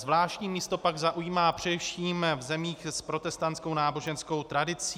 Zvláštní místo pak zaujímá především v zemích s protestanskou náboženskou tradicí.